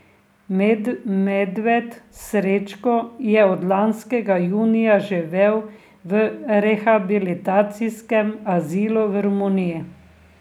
Medved Srečko je od lanskega junija živel v rehabilitacijskem azilu v Romuniji.